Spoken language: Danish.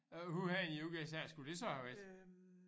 Øh hvor henne i USA skulle det så have været?